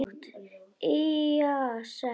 Illa sek.